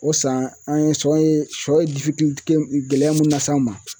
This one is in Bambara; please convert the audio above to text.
O san an ye siyɔ ye siyɔ ye gɛlɛya mun las'anw ma.